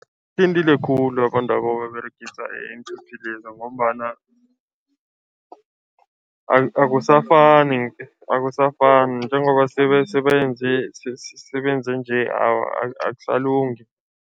Khulu abantwaba ababeregisa iinthuthi leza ngombana akusafani akusafani njengoba sebenze sebenze nje, akusalungi.